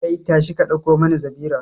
Kai, tashi ka dauko mani zabira